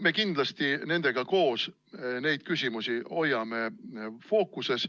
Me kindlasti hoiame nendega koos neid küsimusi fookuses